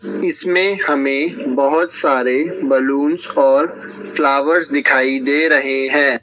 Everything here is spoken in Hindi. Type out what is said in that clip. इसमें हमें बहोत सारे बलूंस और फ्लावर्स दिखाई दे रहे हैं।